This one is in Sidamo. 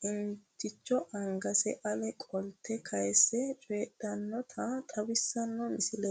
qiniitticho angase ale qolte kaayse cooydhinota xawissanno misileeti.